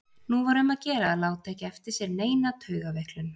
Nú var um að gera að láta ekki eftir sér neina taugaveiklun.